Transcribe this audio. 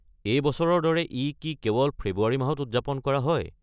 এই বছৰৰ দৰে ই কি কেৱল ফেব্ৰুৱাৰী মাহত উদযাপন কৰা হয়?